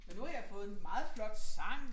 Og nu har jeg fået en meget flot sang